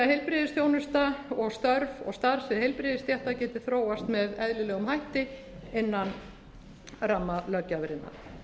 heilbrigðisþjónusta og störf og starfssvið heilbrigðisstétta geti þróast með eðlilegum hætti innan ramma löggjafarinnar